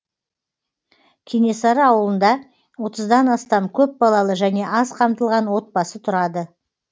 кенесары ауылында отыздан астам көпбалалы және аз қамтылған отбасы тұрады